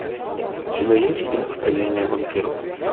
у тебя есть фильм академия вампиров